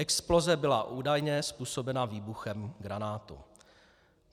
Exploze byla údajně způsobena výbuchem granátu.